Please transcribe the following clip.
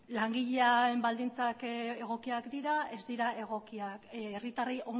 langileen baldintzak egokiak dira ez dira egokiak herritarrei